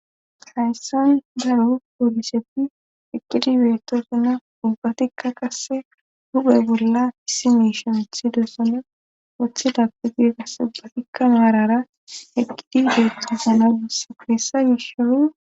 Hayssan daru poolisepfi eqqidi beeto zuna ubbatikka qasse huphe bolla issi meshonethi deossana woththe dappe gide qasse ubbatikka naarara eqqidi beettozuna giss puessa gishoy.